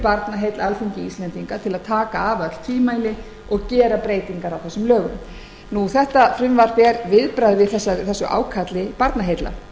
alþingi íslendinga til að taka af öll tvímæli og gera breytingar á þessum lögum þetta frumvarp er viðbragð við ákalli barnaheilla